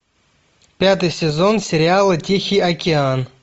пятый сезон сериала тихий океан